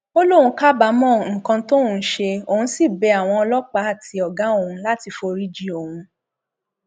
ó lóun kábàámọ nǹkan tóun ṣe òun sì bẹ àwọn ọlọpàá àti ọgá òun láti foríjìn òun